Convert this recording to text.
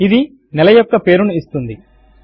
ఇది నెల యొక్క పేరు ను ఇస్తుంది